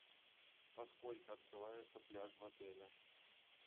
во сколько открывается пляж в отеле